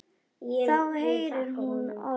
Þá heyrir hún orð afans.